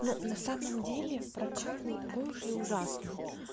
ну на самом деле прокат не такой уж и ужасный